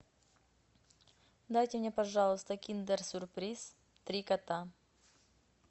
дайте мне пожалуйста киндер сюрприз три кота